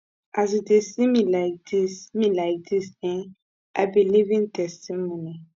as you dey see me like dis me like dis eh i be living testimony